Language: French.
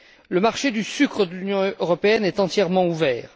Le marché du sucre de l'Union européenne est entièrement ouvert.